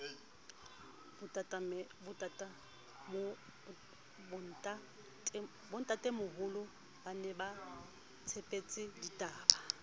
bontatemoholo ba ne baitshepetse ditaola